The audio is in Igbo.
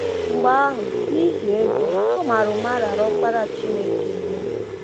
Mgbe ahụ, niihi ego, ọ mara ụma raara ọkpara chineke nye.